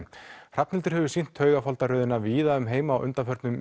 Hrafnhildur hefur sýnt víða um heim á undanförnum